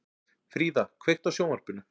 Fríða, kveiktu á sjónvarpinu.